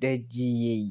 dejiyay.